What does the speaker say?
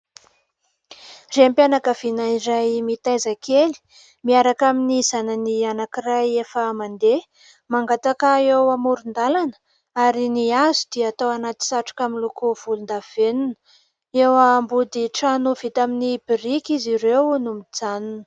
Raim-pianakaviana iray mitaiza kely miaraka amin'ny zanany anankiray efa mandeha, mangataka eo amoron-dalana ary ny azo dia atao anaty satroka miloko volondavenona. Eo ambody trano vita amin'ny biriky izy ireo no mijanona.